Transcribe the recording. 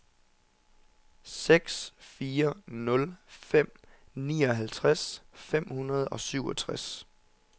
seks fire nul fem nioghalvtreds fem hundrede og syvogtres